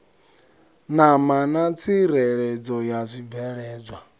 ṋama na tsireledzo ya zwibveledzwa